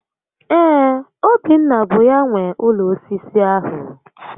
Ee, Obinna bụ ya nwe ụlọ osisi ahụ